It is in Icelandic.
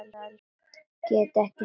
Get ekki snert hana.